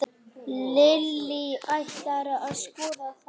Lillý: Ætlarðu að skoða þá?